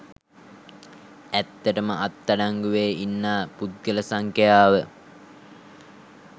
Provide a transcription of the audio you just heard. ඇත්තටම අත් අඩංගුවේ ඉන්නා පුද්ගල සංඛ්‍යාව